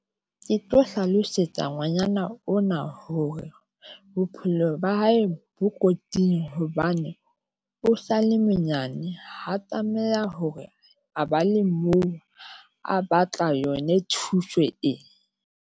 Ke tlo hlalosetsa ngwanyana ona hore bophelo ba hae bo kotsing hobane o sale monyane ha tlameha hore a ba le moo, a batla yone thuso e.